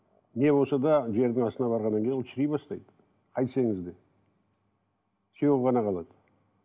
не болса да жердің астына барғаннан кейін ол шіри бастайды қайтсеңіз де сүйегі ғана қалады